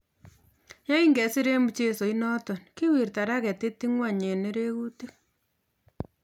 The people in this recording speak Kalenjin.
ye kingesir eng mchesoit notok, kiwirta raketit ing'ony eng' nerekutik.